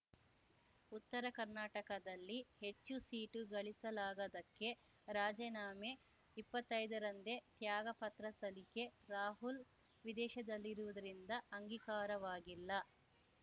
ಉತ್ತರಕರ್ನಾಟಕದಲ್ಲಿ ಹೆಚ್ಚು ಸೀಟು ಗೆಲ್ಲಿಸಲಾಗದ್ದಕ್ಕೆ ರಾಜೀನಾಮೆ ಇಪ್ಪತ್ತೈದರಂದೇ ತ್ಯಾಗಪತ್ರ ಸಲ್ಲಿಕೆ ರಾಹುಲ್‌ ವಿದೇಶದಲ್ಲಿರುವುದರಿಂದ ಅಂಗೀಕಾರವಾಗಿಲ್ಲ